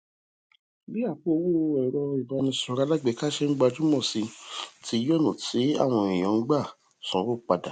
bí àpò owó èrọ ìbánisọrọ alágbèéká ṣe n gbajúmọ si ti yí ònà táwọn èèyàn ń gbà sanwo padà